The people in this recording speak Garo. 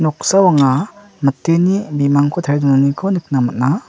noksao anga miteni bimangko tarie donaniko nikna man·a.